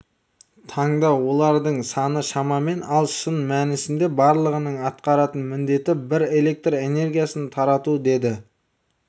таңда олардың саны шамамен ал шын мәнісінде барлығының атқаратын міндеті бір электр энергиясын тарату деді